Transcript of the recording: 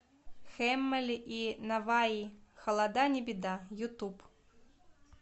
хэммэли и наваи холода не беда ютуб